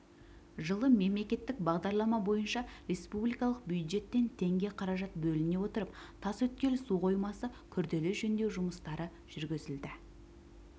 жылы мемлекеттік бағдарлама бойынша республикалық бюджеттен тенге қаражат бөліне отырып тасөткел су қоймасы күрделі жөнделу жұмыстары жүргізілді